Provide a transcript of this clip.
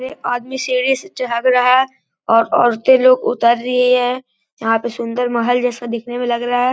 एक आदमी सीढ़ी से झांक रहा है और औरते लोग उतर रही है। यहाँ पे सुन्दर महल जैसा दिखने में लग रहा है।